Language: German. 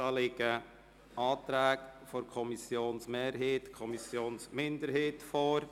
Dazu liegen Anträge der Kommissionsmehrheit und der Kommissionsminderheit vor.